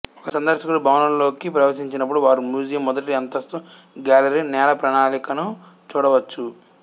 ఒక సందర్శకుడు భవనంలోకి ప్రవేశించినప్పుడు వారు మ్యూజియం మొదటి అంతస్తు గ్యాలరీ నేల ప్రణాళికను చూడవచ్చు